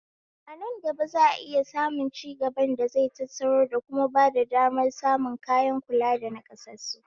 Anan gaba za'a iya samun cigaban da zai tattaro da kuma bada damar samun kayan kula da naƙassasu